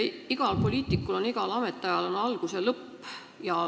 Iga poliitiku igal ametiajal on algus ja lõpp.